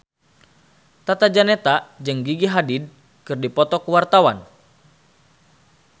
Tata Janeta jeung Gigi Hadid keur dipoto ku wartawan